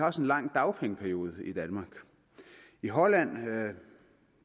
også en lang dagpengeperiode i danmark i holland